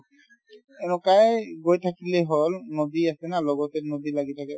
এনেকুৱাই গৈ থাকিলে হ'ল নদী আছে ন লগতে নদী লাগি থাকে